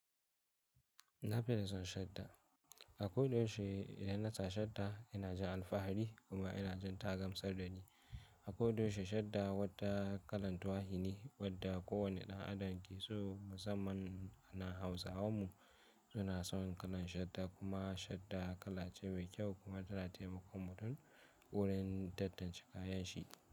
Na fi son shadda. Akwai da yaushe da yana sa shadda yana jin alfahari kuma yana jin ta gamsar da ni. Akwai da yaushe shadda wadda kalan tuwahine wadda kowane ɗan adam ke so. Musamman ana Hausawan mu suna son kalan shadda kuma shadda kala ce mai kyau kuma tana taimakon mutum wurin tattance kayanshi.